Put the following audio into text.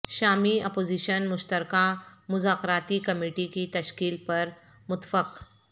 شامی اپوزیشن مشترکہ مذاکراتی کمیٹی کی تشکیل پر متفق